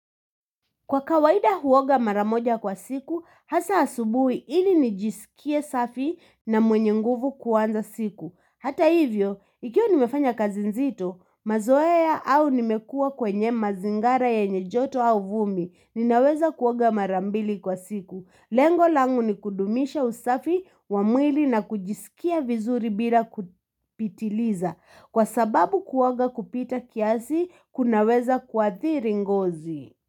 Kwa kawaida huoga maramoja kwa siku, hasa asubuhi ili nijisikie safi na mwenye nguvu kuanza siku. Hata hivyo, ikiwa nimefanya kazi nzito, mazoea au nimekua kwenye mazingara ya ye nyejoto au vumi, ninaweza kuoga marambili kwa siku. Lengo langu ni kudumisha usafi wa mwili na kujisikia vizuri bila kupitiliza. Kwa sababu kuoga kupita kiasi, kunaweza kuathiri ngozi.